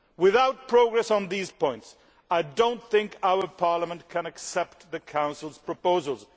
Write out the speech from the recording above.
Without progress on these points I do not think our Parliament can accept the Council's proposals.